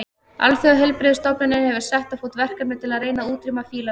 Alþjóðaheilbrigðisstofnunin hefur sett á fót verkefni til að reyna að útrýma fílaveiki.